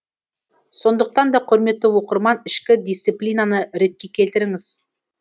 сондықтан да құрметті оқырман ішкі дисциплинаны ретке келтіріңіз